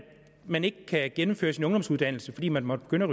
man ikke kan gennemføre sin ungdomsuddannelse fordi man måtte begynde